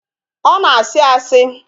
Ọ na-asị asị